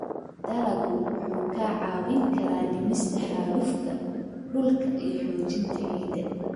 Dalaggu wuxuu kaa caawin karaa dhimista xaalufka dhulka iyo xoojinta ciidda.